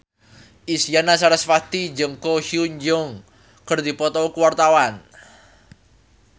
Isyana Sarasvati jeung Ko Hyun Jung keur dipoto ku wartawan